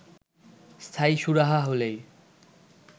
স্থায়ী সুরাহা হলেই